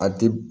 A ti